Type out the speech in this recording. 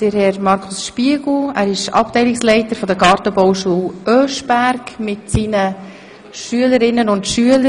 Es handelt sich um Herrn Markus Spiegel, Abteilungsleiter der Gartenbauschule Oeschberg, mit seinen Schülerinnen und Schülern.